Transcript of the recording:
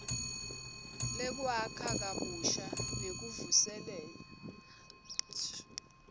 lwekwakha kabusha nekuvuselela